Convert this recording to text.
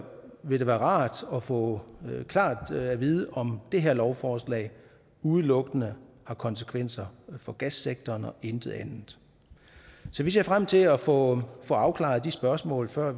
vil det være rart at få klart at vide om det her lovforslag udelukkende har konsekvenser for gassektoren og intet andet så vi ser frem til at få afklaret de spørgsmål før